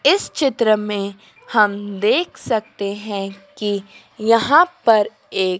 इस चित्र में हम देख सकते हैं कि यहां पर एक--